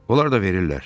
Onlar da verirlər.